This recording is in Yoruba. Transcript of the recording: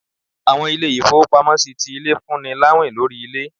Àwọn ilé-ifowópámọsí tí ilé, fún ní láwín lorí ilé.